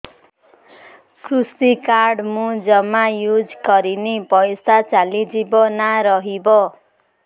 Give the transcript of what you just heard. କୃଷି କାର୍ଡ ମୁଁ ଜମା ୟୁଜ଼ କରିନି ପଇସା ଚାଲିଯିବ ନା ରହିବ